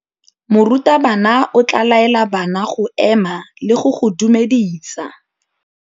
Morutabana o tla laela bana go ema le go go dumedisa.